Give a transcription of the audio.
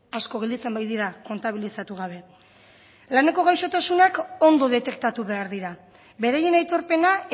asko gelditzen baitira kontabilizatu gabe laneko gaixotasunak ondo detektatu behar dira beraien aitorpena